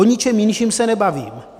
O ničem jinším se nebavím.